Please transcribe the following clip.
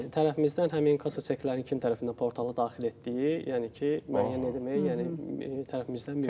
Bəli, tərəfimizdən həmin kassa çeklərinin kim tərəfindən portala daxil etdiyi, yəni ki, müəyyən etmək, yəni tərəfimizdən mümkün.